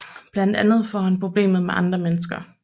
Blandt andet får han problemet med andre mennesker